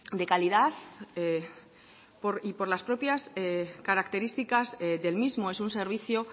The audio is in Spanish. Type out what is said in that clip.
de calidad y por las propias características del mismo es un servicio